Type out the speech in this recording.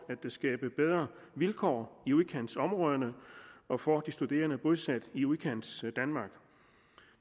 at skabe bedre vilkår i udkantsområderne og for de studerende bosat i udkantsdanmark